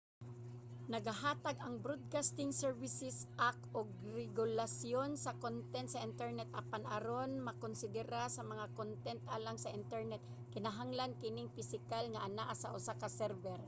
nagahatag ang broadcasting services act og regulasyon sa kontent sa internet apan aron makonsidera nga kontent alang sa internet kinahanglan kining pisikal nga anaa sa usa ka server